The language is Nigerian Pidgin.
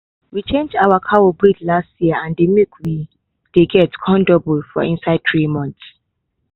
we change our cow breed last year and the milk we dey get come double for inside three months.